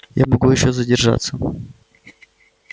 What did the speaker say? я могу ещё задержаться